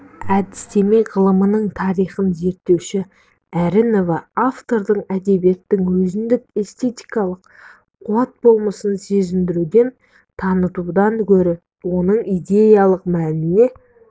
әдістеме ғылымының тарихын зерттеуші әрінова автордың әдебиеттің өзіндік эстетикалық қуат-болмысын сезіндіруден танытудан гөрі оның идеялық мәніне